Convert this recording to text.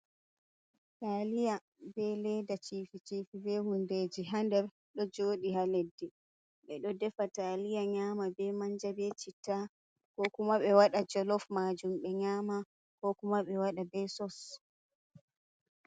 Taaliya bee leeda ciifi ciifi bee huundeeji haa nder ɗo jooɗi haa leɗɗe, ɓe ɗo defa taaliya nyama bee manja bee citta koo kuma ɓe wada jolof maajum ɓe nyaama koo kuma ɓe waɗa bee sos.